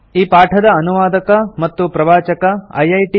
ಈ ಪಾಠದ ಅನುವಾದಕ ಮತ್ತು ಪ್ರವಾಚಕ ಐಐಟಿ